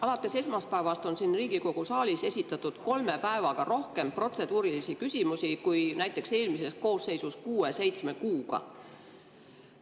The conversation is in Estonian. Alates esmaspäevast on siin Riigikogu saalis esitatud kolme päevaga rohkem protseduurilisi küsimusi kui näiteks eelmises koosseisus kuue-seitsme kuuga.